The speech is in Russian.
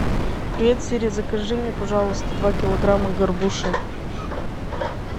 привет сири закажи мне пожалуйста два килограмма горбуши